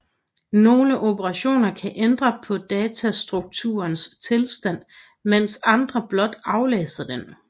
Nogle operationer kan ændre på datastrukturens tilstand mens andre blot aflæser den